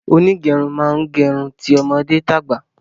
Onígerun màá n gerun ti ọmọdé tàgbà